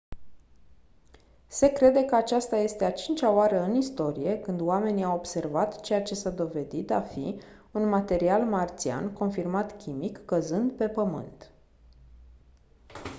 se crede că aceasta este a cincea oară în istorie când oamenii au observat ceea ce s-a dovedit a fi un material marțian confirmat chimic căzând pe pământ